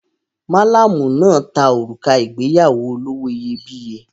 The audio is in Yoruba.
Malamu náà ta òrùka ìgbéyàwó olówó iyebíye.